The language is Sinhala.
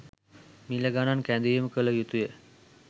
මිල ගනන් කැඳවීම කල යුතුය.